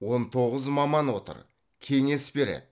он тоғыз маман отыр кеңес береді